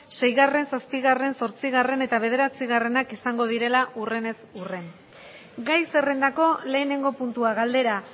seigarren zazpigarren zortzigarren eta bederatzigarrenak izango direla urrenez urren gai zerrendako lehenengo puntua galdera